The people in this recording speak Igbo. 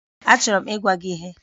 Achọrọ m ịgwa gị ihe